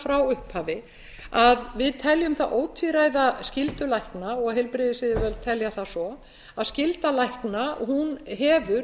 frá upphafi að við teljum það ótvíræða skyldu lækna og heilbrigðisyfirvöld telja það svo að skylda lækna hefur